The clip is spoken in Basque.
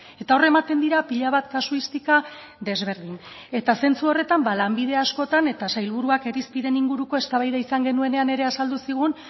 eta hor ematen dira pila bat kasuistika desberdin eta zentzu horretan lanbide askotan eta sailburuak irizpideen inguruko eztabaida izan genuenean ere azaldu zigun